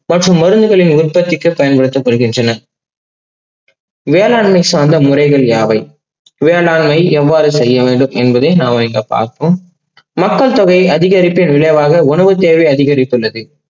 மற்றும் மருந்துகளின் உர்த்திகளுக்கு பயன்படுகின்றன. வேளாண்மை சார்ந்த முறைகள் யாவை? வேளாண்மை எவ்வாறு செய்ய வேண்டும் என்பதை நாம இங்க பார்ப்போம். மக்கள் தொகை அறிகரிப்பின் விளைவாக உணவு தேவை அதிகரித்து உள்ளது.